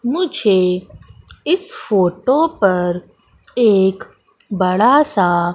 मुझे इस फोटो पर एक बड़ा सा--